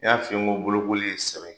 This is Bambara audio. I y'a f'i ye n ko bolokoli ye sɛbɛ ye.